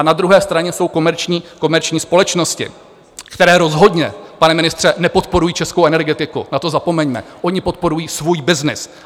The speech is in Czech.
A na druhé straně jsou komerční společnosti, které rozhodně, pane ministře, nepodporují českou energetiku, na to zapomeňme, oni podporují svůj byznys.